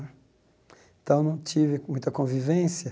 Então, não tive muita convivência.